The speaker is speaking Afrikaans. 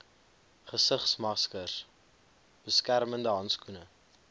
gesigsmaskers beskermende handskoene